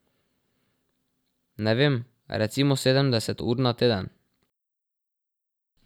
Ne vem, recimo sedemdeset ur na teden.